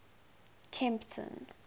kempton